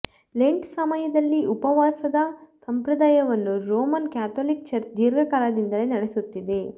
lent ಸಮಯದಲ್ಲಿ ಉಪವಾಸದ ಸಂಪ್ರದಾಯವನ್ನು ರೋಮನ್ ಕ್ಯಾಥೋಲಿಕ್ ಚರ್ಚ್ ದೀರ್ಘಕಾಲದಿಂದಲೇ ನಡೆಸುತ್ತಿದೆ